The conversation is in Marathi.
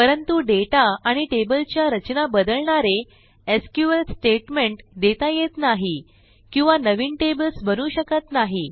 परंतु डेटा आणि टेबलच्या रचना बदलणारे एसक्यूएल स्टेटमेंट देता येत नाही किंवा नवी टेबल्स बनवू शकत नाही